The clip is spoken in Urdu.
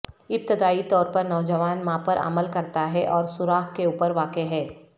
ابتدائی طور پر نوجوان ماں پر عمل کرتا ہے اور سوراخ کے اوپر واقع ہے